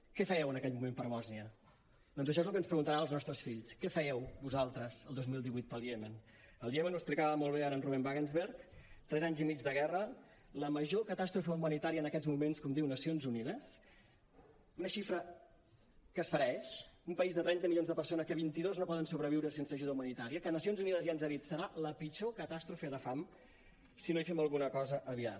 què fèieu en aquell moment per bòsnia doncs això és el que ens preguntaran els nostres fills què fèieu vosaltres el dos mil divuit pel iemen el iemen ho explicava ara molt bé ruben wagensberg tres anys i mig de guerra la major catàstrofe humanitària en aquests moments com diu nacions unides una xifra que esfereeix un país de trenta milions de persones en què vint dos no poden sobreviure sense ajuda humanitària que nacions unides ja ens ha dit serà la pitjor catàstrofe de fam si no hi fem alguna cosa aviat